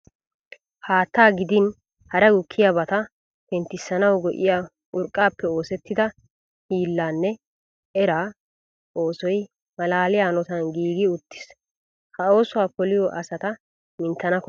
Haattaa gidin hara gukkiyabata penttissanawu go''iya urqqaappe oosettida hiilla nne era oosoy malaaliya hanotan giigi uttiis. Ha oosuwa poliya asata minttana koshshees.